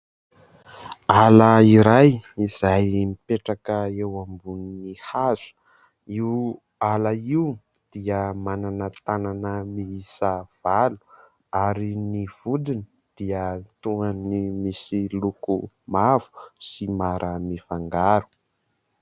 Hala iray izay mipetraka eo ambonin'ny hazo. Io hala io dia manana tanana miisa valo. Ary ny vodiny dia toa ny misy loko mavo sy mara mifangaro.